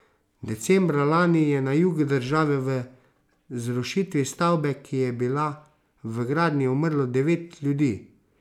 Decembra lani je na jugu države v zrušitvi stavbe, ki je bila v gradnji, umrlo devet ljudi.